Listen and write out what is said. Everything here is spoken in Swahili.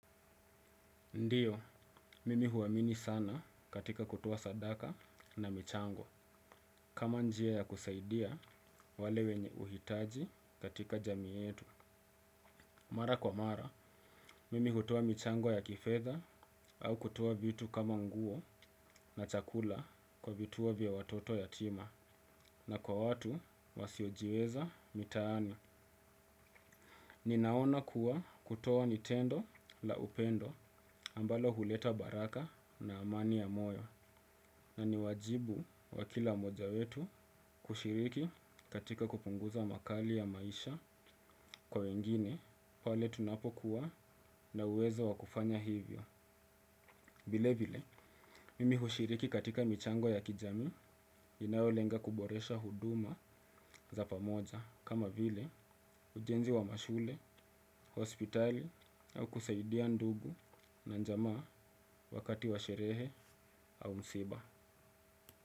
Ndio, mimi huamini sana katika kutoa sadaka na michango. Kama njia ya kusaidia, wale wenye huhitaji katika jamii yetu. Mara kwa mara, mimi hutoa michango ya kifedha au kutoa vitu kama nguo na chakula kwa vituo vya watoto yatima na kwa watu wasiojiweza mitaani. Ninaona kuwa kutoa ni tendo la upendo ambalo huleta baraka na amani ya moyo. Na ni wajibu wakila mmoja wetu kushiriki katika kupunguza makali ya maisha kwa wengine pale tunapokuwa na uwezo wakufanya hivyo. Vile vile, mimi hushiriki katika michango ya kijamii inayolenga kuboresha huduma za pamoja kama vile ujenzi wa mashule, hospitali au kusaidia ndugu na jamaa wakati wa sherehe au msiba.